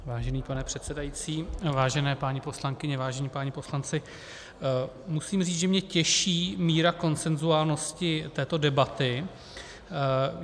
Vážený pane předsedající, vážené paní poslankyně, vážení páni poslanci, musím říct, že mě těší míra konsenzuálnosti této debaty.